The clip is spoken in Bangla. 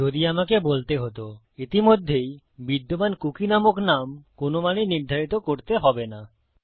যদি আমাকে বলতে হতো ইতিমধ্যেই বিদ্যমান কুকী নামক নাম কোনো মানেই নির্ধারিত করতে হবে না